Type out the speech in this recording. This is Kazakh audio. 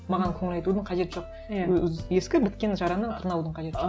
маған көңіл айтудын қажеті жоқ ескі біткен жараны тырнаудың қажеті жоқ